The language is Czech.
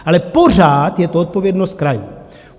Ale pořád je to odpovědnost krajů.